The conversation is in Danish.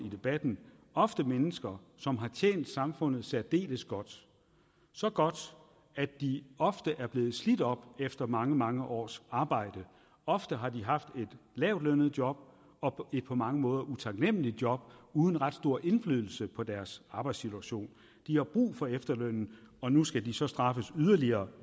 i debatten ofte mennesker som har tjent samfundet særdeles godt så godt at de ofte er blevet slidt op efter mange mange års arbejde ofte har de haft et lavtlønnet job og et på mange måder utaknemligt job uden ret stor indflydelse på deres arbejdssituation de har brug for efterlønnen og nu skal de så straffes yderligere